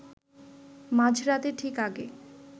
মাঝরাতের ঠিক আগে